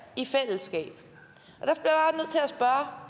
i fællesskab der